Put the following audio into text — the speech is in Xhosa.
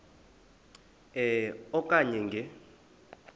e okanye nge